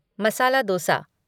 masala dosa